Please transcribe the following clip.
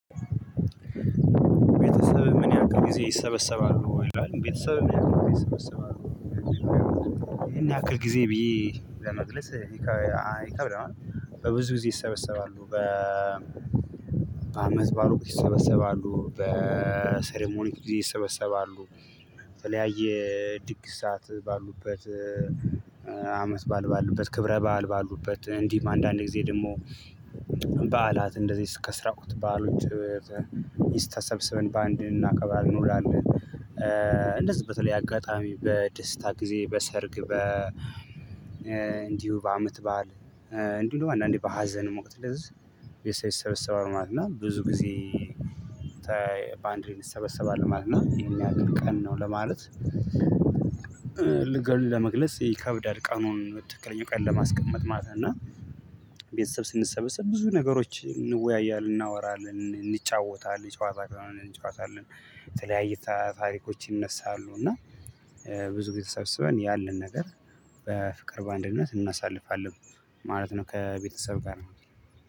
ቤተሰብህ ምን ያክል ጊዜ ይሰበሰባሉ ይላል ቤተሰብህ ምን ያክል ጊዜ ይሰበሰባሉ? ይህን ያክል ጊዜ ብዬ ለመግለጽ ይከብዳል። በብዙ ጊዜ ይሰበሰባሉ። በ አመትባል ወቅት ይሰበሰባሉ በ ሰሪሞኒ ጊዜ ይሰበሰባሉ የተለያየ ድግስ ሰዓት ባሉበት። አመት ባል ባሉበት ክብረ ባል ባሉበት እንዲህም አንዳንዴ ጊዜ ደግሞ በዓላት እንደዚህ ከስራ ወቅት በዓሎች ይስተሰብስብን ሰብስበን በአንድ እናከብራለን። እንደዚህ በተለይ አጋጣሚ በደስታ ጊዜ በሰርግ በ እንዲሁ በአመት በዓል እንዲሁ አንዳንዴ በሀዘን ወቅት ስለዚህ ቤተሰብ ይሰበሰባል ማለት ነው። እና ብዙ ጊዜ ባንድ ላይ እንሰበሰባል እና ማለት ነው። እሄን ያክል ቀን ነው ለማለት ልገል ለመግለጽ ይከብዳል። ቀኑን በትክክለኛው ቀን ለማስቀመጥ ማለት ነው። እና ቤተሰብ ስንሰበሰብ ብዙ ነገሮች እንወያያለን እናወራለን እንጫወታለን ጨዋታ አለን። የተለያየ ታሪኮች ይነሳሉ። እና ብዙ ጊዜ ተሰብስበን ያለን ነገር በፍቅር በአንድነት እናሳልፋለን ማለት ነው። ከቤተሰብ ጋር